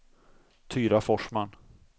Tyra Forsman